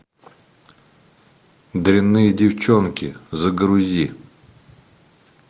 дрянные девчонки загрузи